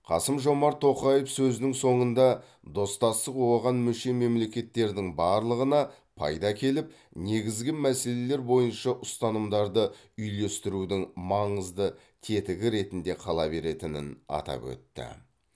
қасым жомарт тоқаев сөзінің соңында достастық оған мүше мемлекеттердің барлығына пайда әкеліп негізгі мәселелер бойынша ұстанымдарды үйлестірудің маңызды тетігі ретінде қала беретінін атап өтті